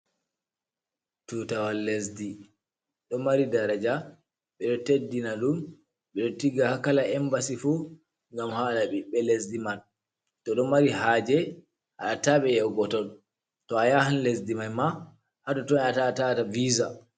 Tutawal lesdi ɗo mari daraja ɓe ɗo teddina ɗum, ɓe ɗo tigga haa kala embassy fuu ngam haala ɓiɓɓe lesdi man to do mari haaje a haɗataa ɓe yahugo ton, to a yahan lesdi man maa haa toton a yahata a ta'a visa